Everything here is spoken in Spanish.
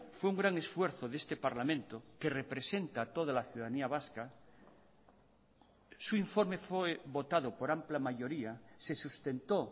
fue un gran esfuerzo de este parlamento que representa a toda la ciudadanía vasca su informe fue votado por amplia mayoría se sustentó